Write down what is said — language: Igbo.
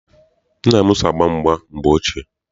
Nna m so gbaa mgba na mgbe ochie.